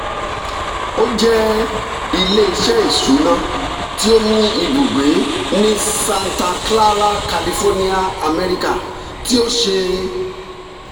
o jẹ ile-iṣẹ iṣuna ti o ni ibugbe ni santa clara california amẹrika ti o ṣe